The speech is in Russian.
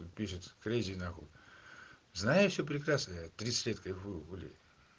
как пишется крейзи нахуй знаю я все прекрасно я тридцать лет кайфую уже